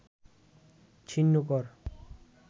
ছিন্ন কর